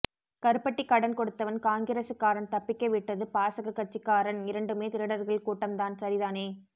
கருப்பட்டி கடன் கொடுத்தவன் காங்கிரசுகாரன் தப்பிக்கவிட்டது பாசக கட்சிக்காரன் இரண்டுமே திருடர்கள் கூட்டம் தான் சரிதானே